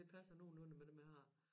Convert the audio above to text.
Det passer nogenlunde med dem jeg har